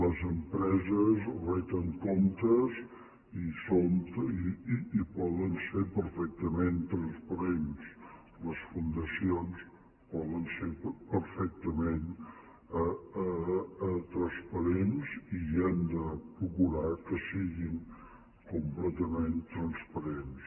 les empreses reten comptes i poden ser perfectament transparents les fundacions poden ser perfectament transparents i hem de procurar que siguin completament transparents